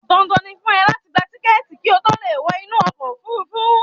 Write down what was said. Dandan ni fún ọ láti gba tíkẹ̀ẹ̀ti ki ó to leè wọ inú ọkò òfurufú